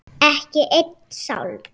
Ekki einn sálm.